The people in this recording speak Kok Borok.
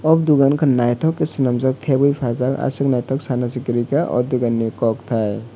o dogan ungkha naithok khe swnamjak thebwi phaljak aswk naithok sana se kwrui kha o dogan ni kok tai.